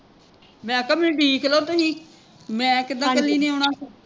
ਮੈਂ ਕਿਹਾ ਮੈਂਨੂੰ ਡੀਕਲੋ ਤੁਸੀਂ ਮੈਂ ਕਿੱਦਾਂ ਕੱਲੀ ਨੇ ਆਉਣਾ ਫਿਰ